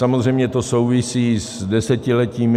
Samozřejmě to souvisí s desetiletími...